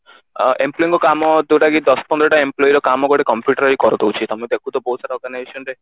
ଅ employ ଙ୍କ କାମ ଯୋଉଟା କି ଦଶ ପନ୍ଦର ଟା employ ର କାମ ଗୋଟେ computer ହିଁ କରି ଦଉଛି ତମେ ଦେଖୁଥିବ ବହୁତ ସାରା